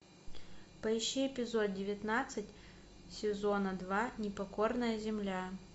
поищи эпизод девятнадцать сезона два непокорная земля